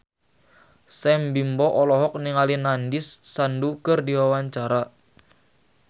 Sam Bimbo olohok ningali Nandish Sandhu keur diwawancara